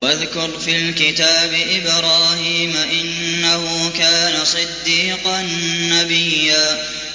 وَاذْكُرْ فِي الْكِتَابِ إِبْرَاهِيمَ ۚ إِنَّهُ كَانَ صِدِّيقًا نَّبِيًّا